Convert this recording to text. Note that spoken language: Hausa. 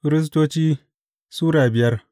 Firistoci Sura biyar